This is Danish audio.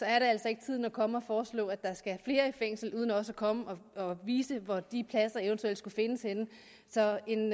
er altså ikke tiden at komme og foreslå at der skal flere i fængsel uden også at komme og vise hvor de pladser eventuelt skal findes henne så en